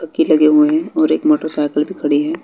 लगे हुए हैं और एक मोटरसाइकिल भी खड़ी है।